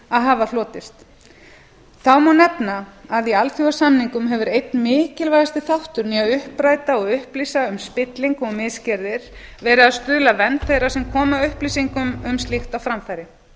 að hafa hlotist þá má nefna að í alþjóðasamningum hefur einn mikilvægasti þátturinn í að uppræta og upplýsa um spillingu og misgerðir verið að stuðla að vernd þeirra sem koma upplýsingum um slíkt á framfæri